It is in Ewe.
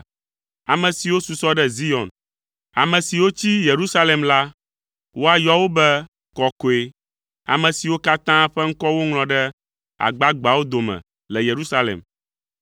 Ame siwo susɔ ɖe Zion, ame siwo tsi Yerusalem la, woayɔ wo be kɔkɔe, ame siwo katã ƒe ŋkɔ woŋlɔ ɖe agbagbeawo dome le Yerusalem.